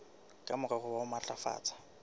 ka morero wa ho matlafatsa